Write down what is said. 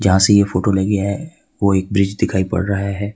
ऐसी यह फोटो लगी है वो एक ब्रिज दिखाई पड़ रहा है।